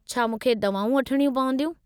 छा मूंखे दवाऊं वठणियूं पवंदियूं?